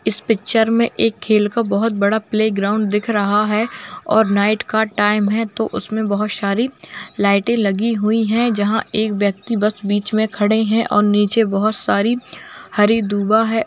इस पिक्चर में एक खेल का बहुत बड़ा प्ले ग्राउंड दिख रहा है और नाईट का टाइम है तो उसमें बहुत सारी लाइटें लगी हुई हैं जहाँ एक व्यक्ति बस बीच में खड़े हैं और नीचे बहुत सारी हरी दूबा है।